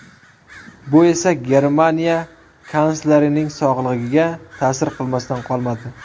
Bu esa Germaniya kanslerining sog‘lig‘iga ta’sir qilmasdan qolmadi.